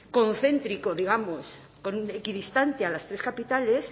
coocéntrico digamos con equidistancia a las tres capitales